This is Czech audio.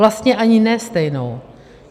Vlastně ani ne stejnou.